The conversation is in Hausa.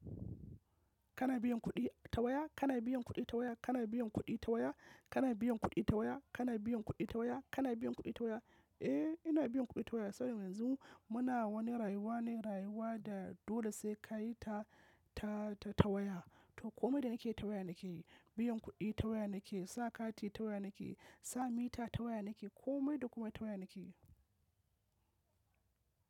Kana biyan kuɗi ta waya? Kana biyan kuɗi ta waya? Kana biyan kuɗi ta waya? Kana biyan kuɗi ta waya? Kana biyan kuɗi ta waya? Kana biyan kuɗi ta waya? Eh, ina biyan kuɗi ta waya saboda yanzu muna wani rayuwa ne, rayuwa da dole sai ka yi ta, ta, ta waya. To komai da nake yi ta waya nake yi. Biyan kuɗi ta waya nake yi, sa kati ta waya nake yi, sa mita ta waya nake yi, komai da komai ta waya nake yi.